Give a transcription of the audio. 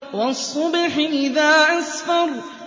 وَالصُّبْحِ إِذَا أَسْفَرَ